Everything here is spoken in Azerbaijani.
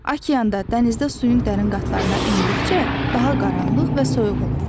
Okeanda, dənizdə suyun dərin qatlarına endikcə daha qaranlıq və soyuq olur.